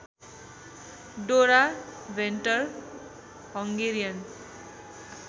डोरा Venter Hungarian